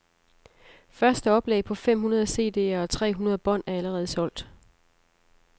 Første oplag på fem hundrede CDere og tre hundrede bånd er allerede solgt.